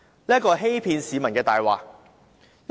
這是欺騙市民的謊言。